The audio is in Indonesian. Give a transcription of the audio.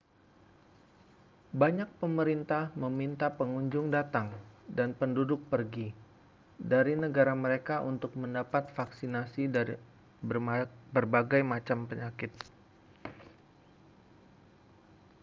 banyak pemerintah meminta pengunjung datang dan penduduk pergi dari negara mereka untuk mendapat vaksinasi dari berbagai penyakit